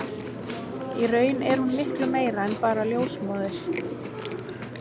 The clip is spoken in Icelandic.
Í raun er hún miklu meira en bara ljósmóðir.